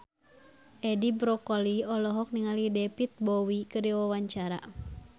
Edi Brokoli olohok ningali David Bowie keur diwawancara